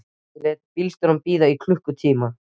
Ég lét bílstjórann bíða í klukkutíma.